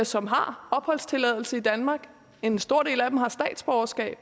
som har opholdstilladelse i danmark og en stor del af dem har statsborgerskab